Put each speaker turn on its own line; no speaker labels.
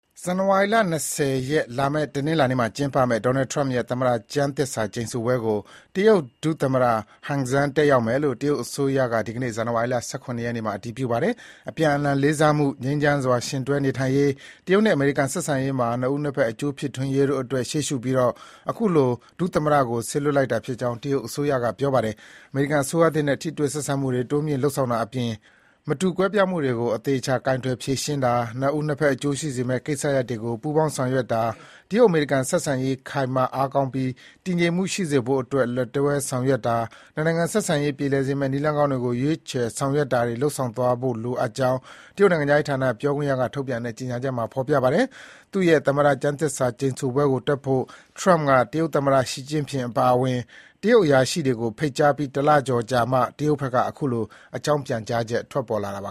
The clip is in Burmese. ဇန်နဝါရီလ ၂၀ ရက်၊ လာမယ့်တနင်္လာနေ့မှာကျင်းပမယ့် Donald Trump ရဲ့ သမ္မတ ကျမ်းသစ္စာ ကျိန် ဆိုပွဲကို တရုတ်ဒုသမ္မတ Han Zheng တက်ရောက်မယ်လို့ တရုတ်အစိုးရက ဒီကနေ့ ဇန်နဝါရီ ၁၇ ရက် နေ့မှာ အတည်ပြုပါတယ်။အပြန်အလှန်လေးစားမှု၊ ငြိမ်းချမ်းစွာယှဉ်တွဲနေထိုင်ရေး၊ တရုတ်နဲ့အမေရိကန် ဆက်ဆံရေးမှာ နှစ်ဦး နှစ်ဘက် အကျိုးဖြစ်ထွန်းရေးတို့အတွက် ရှေ့ရှုပြီး အခုလို ဒုသမ္မတကို စေလွှတ်တာဖြစ်ကြောင်း တရုတ်အစိုးရက ပြောပါတယ်။ အမေရိကန်အစိုးရသစ်နဲ့ ထိတွေ့ဆက်ဆံမှုတွေ တိုးမြှင့်လုပ်ဆောင်တာအပြင် မတူကွဲပြားမှုတွေကို အသေအချာ ကိုင်တွယ်ဖြေရှင်းတာ၊ နှစ်ဦးနှစ်ဘက်အကျိုးရှိစေမယ့်ကိစ္စရပ်တွေကို ပူးပေါင်း ဆောင်ရွက်တာ၊ တရုတ်-အမေရိကန်ဆက်ဆံရေး ခိုင်မာအားကောင်းပြီး တည်ငြိမ်မှုရှိစေဖို့အတွက် လက်တွဲဆောင်ရွက်တာ၊ နှစ်နိုင်ငံဆက်ဆံရေး ပြေလည်စေမယ့် နည်းလမ်းကောင်းတွေကို ရွေးချယ် ဆောင်ရွက်တာတွေ လုပ်ဆောင်သွားဖို့လိုအပ်ကြောင်း တရုတ်နိုင်ငံခြားရေးဌာန ပြောခွင့်ရက ထုတ်ပြန်တဲ့ကြေညာချက်မှာ ဖော်ပြထားပါတယ်။ သူ့ရဲ့ သမ္မတကျမ်းသစ္စာကျိန်ဆိုပွဲကိုတက်ဖို့ Trump က တရုတ်သမ္မတ ရှီကျင့်ဖျင်အပါအဝင် တရုတ် အရာရှိတွေကို ဖိတ်ကြားပြီး တလကျော်ကြာမှ တရုတ်ဘက်က အခုလို အကြောင်းပြန
်ကြားချက် ထွက်ပေါ်လာတာပ